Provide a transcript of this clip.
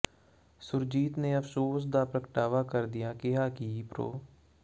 ਸੁੁਰਜੀਤ ਨੇ ਅਫ਼ਸੋਸ ਦਾ ਪ੍ਰਗਟਾਵਾ ਕਰਦਿਆਂ ਕਿਹਾ ਕਿ ਪ੍ਰਰੋ